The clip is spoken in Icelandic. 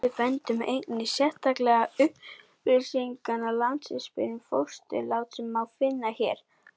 Við bendum einnig sérstaklega á upplýsingarit Landsspítalans um fósturlát sem má finna hér.